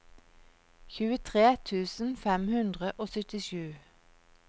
tjuetre tusen fem hundre og syttisju